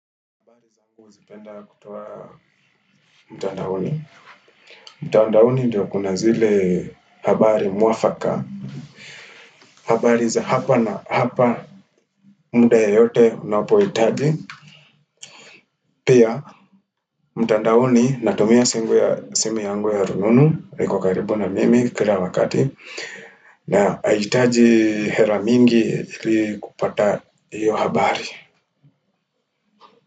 Mtandaoni ndiyo kuna zile habari mwafaka habari za hapa na hapa muda yoyote unapohitaji Pia mtandaoni natumia simu yangu ya rununu, iko karibu na mimi kila wakati na aihitaji hera mingi ili kupata hiyo habari.